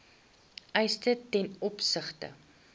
eise ten opsigte